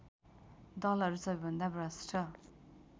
दलहरू सबैभन्दा भ्रष्ट